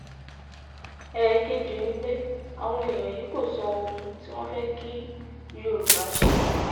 ẹ̀ẹ̀kejì ni pé àwọn èèyàn yìí kò sọ ohun tí wọ́n fẹ́ kí yorùbá ṣe